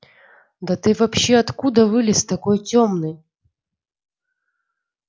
да ты вообще откуда вылез такой тёмный